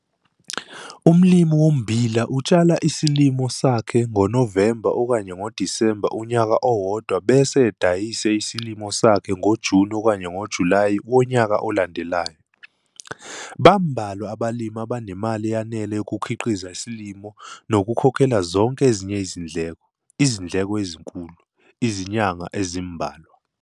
Umlimi wommbila utshala isilimo sakhe ngoNovemba, Disemba unyaka owodwa bese edayise isilimo sakhe ngoJuni, Julayi wonyaka olandelayo. Bambalwa abalimi abanemali eyanele yokukhiqiza isilimo nokukhokhela zonke ezinye izindleko - izindleko ezinkulu - izinyanga ezimbalwa.